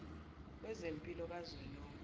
wezempilo ka zwelonke